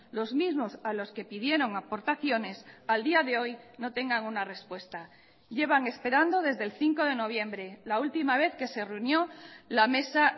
los mismos a los que pidieron aportaciones al día de hoy no tengan una respuesta llevan esperando desde el cinco de noviembre la última vez que se reunió la mesa